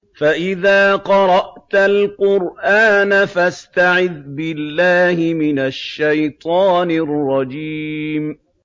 فَإِذَا قَرَأْتَ الْقُرْآنَ فَاسْتَعِذْ بِاللَّهِ مِنَ الشَّيْطَانِ الرَّجِيمِ